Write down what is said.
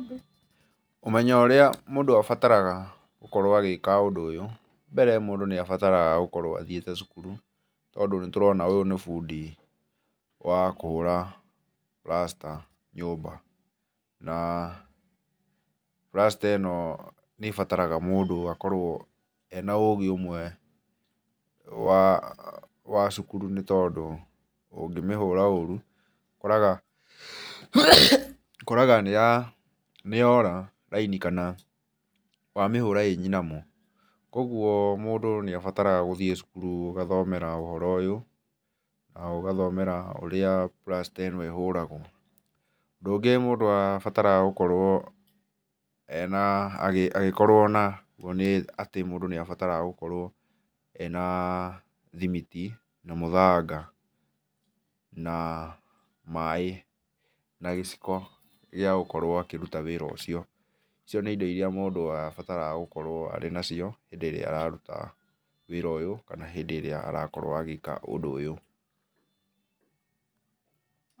Ũmenyo ũrĩa mũndũ abataraga gũkorwo agĩka ũndũ ũyũ, mbere mũndũ nĩ abataraga gũkorwo athiĩte cukuru, tondũ nĩ tũrona ũyũ nĩ bundi wa kũhũra plasta nyũmba, na plasta ĩno nĩ ĩbataraga mũndũ akorwo ena ũgĩ ũmwe wa, wa cukuru nĩtondũ ũngĩmihũra ũru ũkoraga ũkoraga nĩya nĩ yora raini kana wamĩhũra ĩ nyinamu, koguo mũndũ nĩabataraga gũthiĩ cukuru ũgathomera ũndũ ũyũ na ũgathomera ũrĩa plasta ĩno ĩhũragwo. Ũndũ ũngĩ mũndũ abataraga gũkorwo ena agĩ agĩkorwo naguo nĩ atĩ mũndũ nĩabataraga gũkorwo ena thimiti na mũthanga na maĩ na gĩciko gĩa gũkorwo akĩruta wĩra ũcio. Icio nĩ indo iria mũndũ abataraga gũkorwo arĩ nacio hĩndĩ ĩria araruta wĩra ũyũ, kana hĩndĩ ĩrĩa arakorwo agĩka ũndũ ũyũ.